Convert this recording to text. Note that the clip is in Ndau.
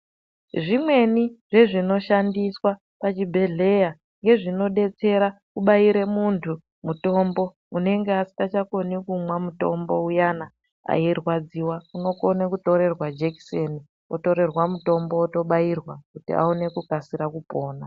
Zvimweni zvezvi inoshandiswa pazvibhedhlera ngezvinodetsera kubairwe muntu mutombo unenge asingakoni kumwa mutombo uyani eyirwadziwa unokone kutorerwa jekiseni otorerwa mutombo otobairwa kuti aone kukasira kupona.